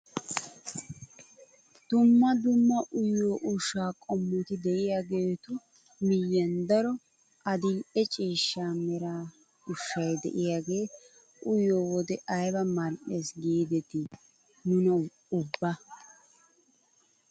Dumma dumma uyiyoo ushshaa qommoti de'iyaagetu miyiyaan daro adil'e ciishsha mera ushshay de'iyaagee uyiyoo wode ayba mal"ees giidetii nuna ubba.